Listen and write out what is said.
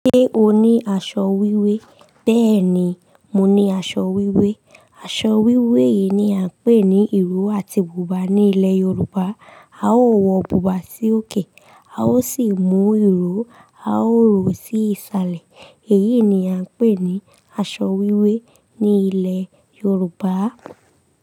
Ṣé o ní aṣọ wíwé? Bẹ́ẹ̀ni, mo ní aṣọ wíwé. Aṣọ wíwé yìí ni à ń pè ní ìró àti bùbá ní ilẹ̀ Yorùbá. A ó wọ bùbá sí òkè, a ó sì mú ìró a ó rò ó sí ìsàlẹ̀. Èyí ni a ń pè ní aṣọ wíwé ní ilẹ̀ Yorùbá.